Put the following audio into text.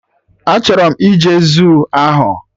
Achọrọ m ije zuu ahụ